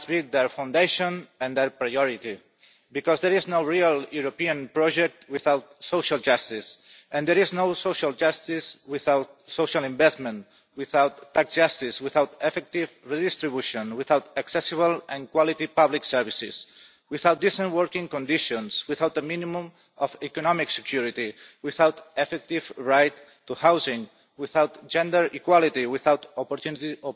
they must be their foundation and their priority, because there is no real European project without social justice, and there is no social justice without social investment, without tax justice, without effective redistribution, without accessible and quality public services, without decent working conditions, without the minimum of economic security, without an effective right to housing, without gender equality, and without opportunities